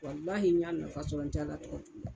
Walahi n y'a nafa sɔrɔ n tɛ Ala tɔgɔ juguya